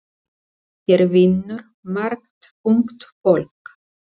Hér vinnur margt ungt fólk.